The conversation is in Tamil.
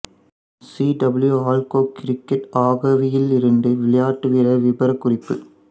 சீ டபிள்யு அல்கொக் கிரிக்கட் ஆக்கைவில் இருந்து விளையாட்டுவீரர் விபரக்குறிப்பு